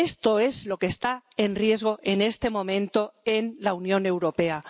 Esto es lo que está en riesgo en este momento en la Unión Europea.